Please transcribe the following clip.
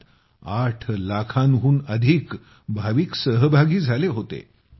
त्यात आठ लाखांहून अधिक भाविक सहभागी झाले होते